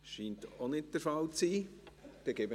– Dies scheint auch nicht der Fall zu sein.